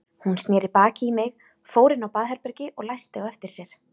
Hún sneri baki í mig, fór inn á baðherbergi og læsti á eftir sér.